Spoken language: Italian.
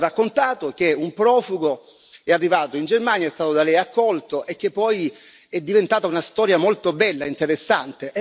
Ci ha raccontato che un profugo è arrivato in Germania, è stato da Lei accolto e che poi è diventata una storia molto bella e interessante.